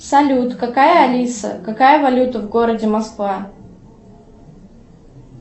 салют какая алиса какая валюта в городе москва